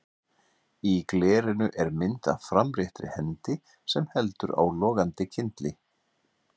Í glerinu er mynd af framréttri hendi sem heldur á logandi kyndli.